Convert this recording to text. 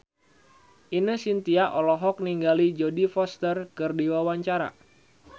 Ine Shintya olohok ningali Jodie Foster keur diwawancara